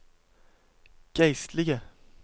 geistlige